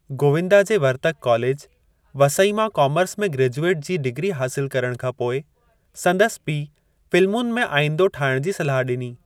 गोविंदा जे वर्तक कॉलेज, वसई मां कामर्स में ग्रेजुएट जी डिग्री हासिलु करण खां पोइ, संदसि पीउ फ़िल्मुनि में आईंदो ठाहिण जी सलाह ॾिनी।